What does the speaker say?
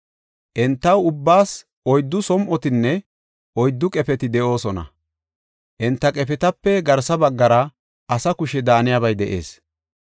Enta ubbaas oyddu som7otinne, oyddu qefeti de7oosona; enta qefetape garsa baggara asa kushe daaniyabay de7ees.